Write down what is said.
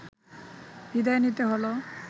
বিদায় নিতে হলো